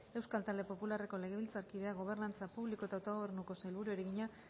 euskal talde popularreko legebiltzarkideak gobernantza publiko eta autogobernuko sailburuari egina